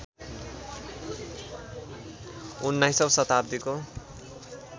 १९ औं शताब्दीको